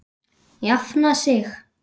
Jafna sig?